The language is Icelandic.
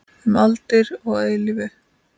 Um aldir og að eilífu.